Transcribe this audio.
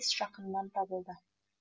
жақыннан табылды